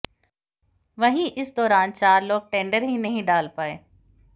वहीं इस दौरान चार लोग टेंडर ही नहीं डाल पाए